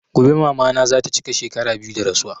Gobe mama na zata chika shekara biyu da rasuwa